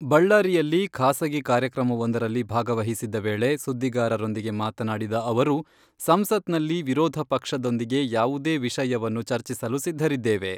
ಬಳ್ಳಾರಿಯಲ್ಲಿ ಖಾಸಗಿ ಕಾರ್ಯಕ್ರಮವೊಂದರಲ್ಲಿ ಭಾಗವಹಿಸಿದ್ದ ವೇಳೆ ಸುದ್ದಿಗಾರರೊಂದಿಗೆ ಮಾತನಾಡಿದ ಅವರು, ಸಂಸತ್ನಲ್ಲಿ ವಿರೋಧ ಪಕ್ಷದೊಂದಿಗೆ ಯಾವುದೇ ವಿಷಯವನ್ನು ಚರ್ಚಿಸಲು ಸಿದ್ದರಿದ್ದೇವೆ.